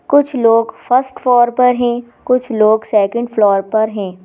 कुछ लोग first floor पर हैं कुछ लोग सेकंड फ्लोर हैं।